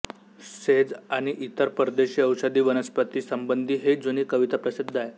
says आणि इतर परदेशी औषधी वनस्पतींसंबंधी ही जुनी कविता प्रसिद्ध आहे